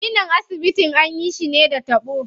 Ginin asibitin anyi shi ne da taɓo.